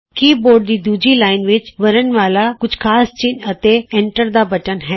ਕੀ board ਦੀ ਦੂਜੀ line ਵਿਚ ਵਰਣਮਾਲਾ ਕੁਝ ਖਾਸ ਚਿੰਨ੍ਹ ਅਤੇ ਐਂਟਰ ਦਾ ਬਟਨ ਹੈ